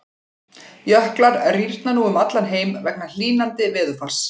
Jöklar rýrna nú um allan heim vegna hlýnandi veðurfars.